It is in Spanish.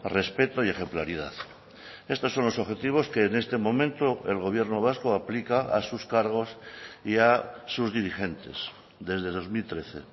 respeto y ejemplaridad estos son los objetivos que en este momento el gobierno vasco aplica a sus cargos y a sus dirigentes desde dos mil trece